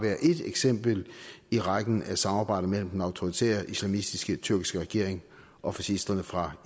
ét eksempel i rækken af samarbejder mellem den autoritære islamistiske tyrkiske regering og fascisterne fra